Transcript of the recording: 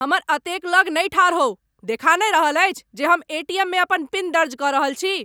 हमर एतेक लगमे नहि ठाढ़ होउ। देखा नहि रहल अछि जे हम एटीएममे अपन पिन दर्ज क रहल छी?